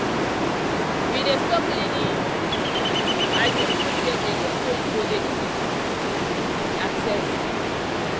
we dey store cleaning items for shared area so e go dey easy to um access.